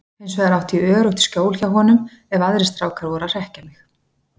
Hinsvegar átti ég öruggt skjól hjá honum ef aðrir strákar voru að hrekkja mig.